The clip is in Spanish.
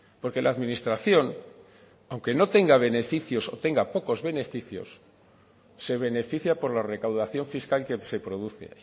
porque la administración aunque no tenga beneficios o tenga pocos beneficios se beneficia por la recaudación fiscal que se produce